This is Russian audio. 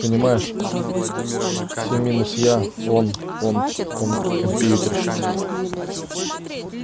понимаешь всё минус я он он он компьютерщик